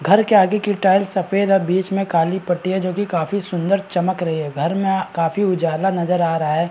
घर के आगे की टाइल्स सफेद है और बीच में काली पट्टी है जो की काफी सुन्दर चमक रही है घर में काफी उजाला नजर आ रहा है।